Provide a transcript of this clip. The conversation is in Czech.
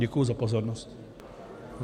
Děkuji za pozornost.